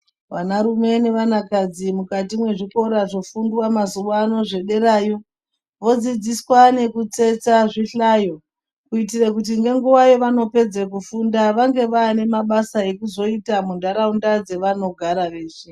Vana rume nevana kadzi mukati mezvikora zvofundwa mazuva ano zvederayo vodzidziswa nekutsetsa zvihlayo kuitira kuti Vapedza kufunda vange vane mabasa ekyzoita munharaunda ava nozoita izvi.